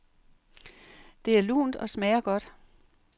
Det er lunt og smager godt.